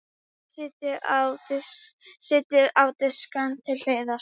Setjið á disk til hliðar.